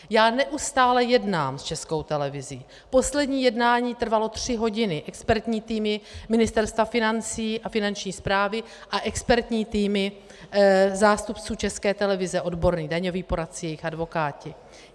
Já neustále jednám s Českou televizí, poslední jednání trvalo tři hodiny - expertní týmy Ministerstva financí a Finanční správy a expertní týmy zástupců České televize, odborné, daňoví poradci, jejich advokáti.